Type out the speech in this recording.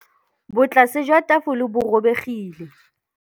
Botlasê jwa tafole bo robegile.